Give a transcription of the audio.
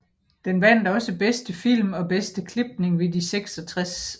Den vandt også Bedste film og Bedste klipning ved de 66